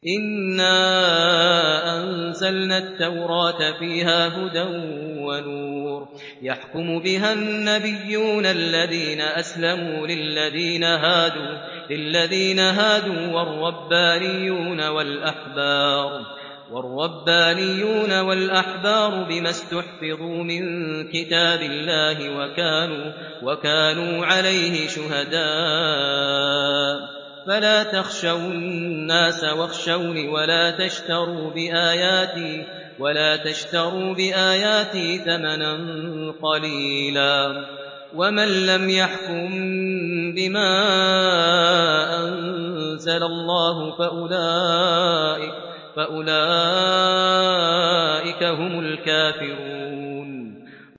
إِنَّا أَنزَلْنَا التَّوْرَاةَ فِيهَا هُدًى وَنُورٌ ۚ يَحْكُمُ بِهَا النَّبِيُّونَ الَّذِينَ أَسْلَمُوا لِلَّذِينَ هَادُوا وَالرَّبَّانِيُّونَ وَالْأَحْبَارُ بِمَا اسْتُحْفِظُوا مِن كِتَابِ اللَّهِ وَكَانُوا عَلَيْهِ شُهَدَاءَ ۚ فَلَا تَخْشَوُا النَّاسَ وَاخْشَوْنِ وَلَا تَشْتَرُوا بِآيَاتِي ثَمَنًا قَلِيلًا ۚ وَمَن لَّمْ يَحْكُم بِمَا أَنزَلَ اللَّهُ فَأُولَٰئِكَ هُمُ الْكَافِرُونَ